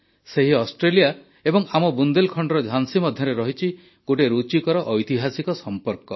ସେହି ଅଷ୍ଟ୍ରେଲିଆ ଏବଂ ଆମ ବୁନ୍ଦେଲଖଣ୍ଡର ଝାନ୍ସୀ ମଧ୍ୟରେ ରହିଛି ଗୋଟିଏ ରୁଚିକର ଐତିହାସିକ ସମ୍ପର୍କ